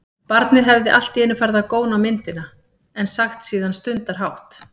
Barnið hefði allt í einu farið að góna á myndina, en sagt síðan stundarhátt